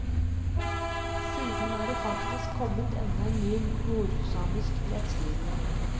Siden er det faktisk kommet enda en ny nordsamisk rettskrivning.